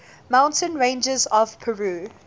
mountain ranges of peru